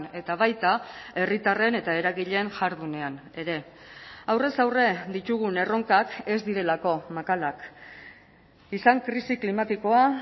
eta baita herritarren eta eragileen jardunean ere aurrez aurre ditugun erronkak ez direlako makalak izan krisi klimatikoa